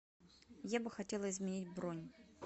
я бы хотела изменить бронь